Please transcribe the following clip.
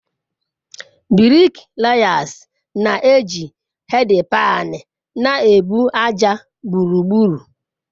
Briklayasi na-eji hedpaani na-ebu ájá gburugburu.